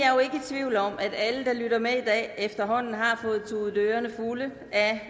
tvivl om at alle der lytter med i dag efterhånden har fået tudet ørerne fulde